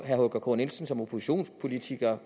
herre holger k nielsen som oppositionspolitiker